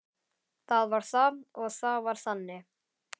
Það var það og það var þannig.